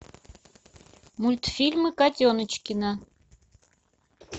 мультфильмы котеночкина